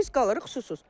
Biz qalırıq susuz.